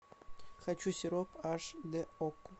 хочу сироп аш д окко